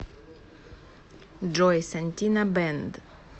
джой сантина бэнд